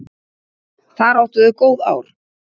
Þar áttu þau góð ár.